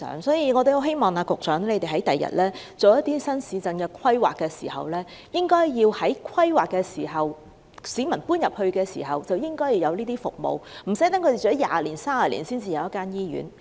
所以，我很希望局長未來就新市鎮進行規劃時，應該在規劃階段及市民遷往該處時便提供有關服務，讓市民無需居住了20年或30年後才有一間醫院。